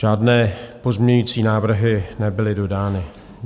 Žádné pozměňovací návrhy nebyly dodány.